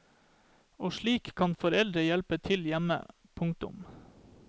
Og slik kan foreldrene hjelpe til hjemme. punktum